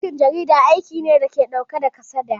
Aikin jarida aiki ne dake ɗauke da kasada